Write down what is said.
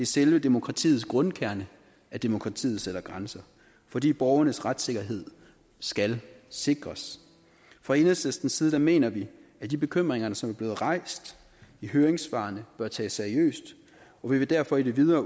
selve demokratiets grundkerne at demokratiet sætter grænser fordi borgernes retssikkerhed skal sikres fra enhedslistens side mener vi at de bekymringer som er blevet rejst i høringssvarene bør tages seriøst og vi vil derfor i det videre